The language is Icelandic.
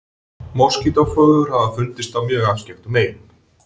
Moskítóflugur hafa fundist á mjög afskekktum eyjum.